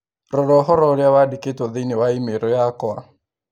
rora ũhoro ũrĩa wandĩkĩtwo thĩinĩ wa i-mīrū yakwa